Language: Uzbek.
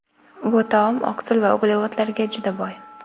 Bu taom oqsil va uglevodlarga juda boy.